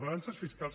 balances fiscals